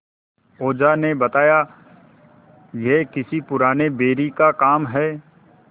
ओझा ने बताया यह किसी पुराने बैरी का काम है